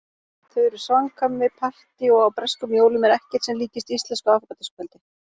Þau eru samkvæmi- partí- og á breskum jólum er ekkert sem líkist íslensku aðfangadagskvöldi.